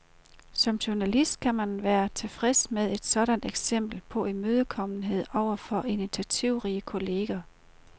Som journalist kan man kun være tilfreds med et sådant eksempel på imødekommenhed over for initiativrige kolleger.